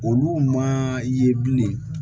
Olu ma ye bilen